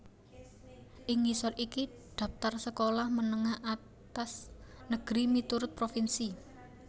Ing ngisor iki dhaptar sekolah menengah atas negeri miturut provinsi